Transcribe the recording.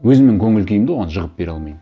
өзімнің көңіл күйімді оған жығып бере алмаймын